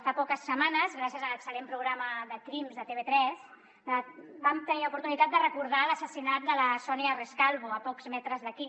fa poques setmanes gràcies a l’excel·lent programa crims de tv3 vam tenir l’oportunitat de recordar l’assassinat de la sonia rescalvo a pocs metres d’aquí